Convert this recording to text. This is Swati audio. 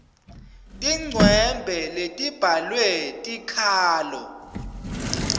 tincwembe letibhalwe tikhalo